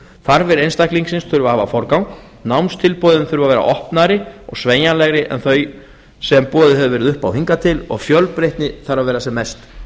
þarfir einstaklingsins þarf að hafa forgang námstilboðin þurfa að vera opnari og sveigjanlegri en þau sem boðið hefur verið upp á hingað til og fjölbreytni þarf að vera sem mest